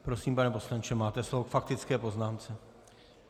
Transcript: Prosím, pane poslanče, máte slovo k faktické poznámce.